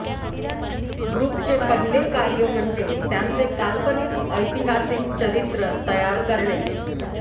ग्रुपचा पहिला कार्य म्हणजे त्यांचे काल्पनिक ऐतिहासिक चरित्र तयार करणे